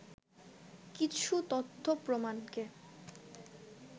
কিছু তথ্য প্রমাণকে